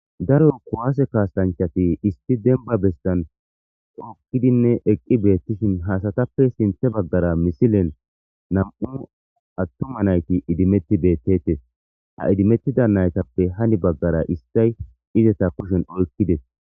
daro kuwaase kaastanchati issi denba bestan okkidinne eqqi beettishin haasatappe sinthe baggara misilen nam7u attuma nayti idimetti beettettes ha idimettida naytappe hani baggara istay izeta kushen oykkides